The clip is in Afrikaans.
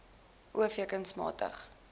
o v kunsmatige